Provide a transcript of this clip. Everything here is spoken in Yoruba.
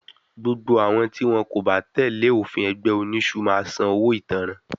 Gbogbo àwọn tí wọ́n kò bá tẹ́lẹ̀ òfin ẹgbẹ́ oniṣu máa sàn owó ìtanràn